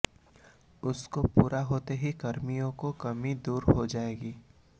उसके पूरा होते ही कर्मियों की कमी दूर हो जाएगी